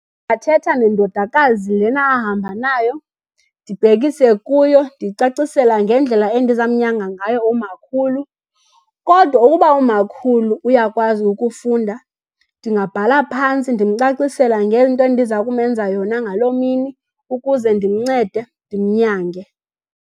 Athetha nendodakazi lena ahamba nayo, ndibhekise kuyo ndiyicacisela ngendlela endizamnyanga ngayo umakhulu. Kodwa uba umakhulu uyakwazi ukufunda, ndingabhala phantsi ndimcacisela ngento endiza kumenza yona ngaloo mini ukuze ndimncede ndimnyange.